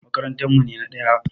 Makarantar mu ne na ɗaya.